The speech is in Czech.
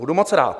Budu moc rád.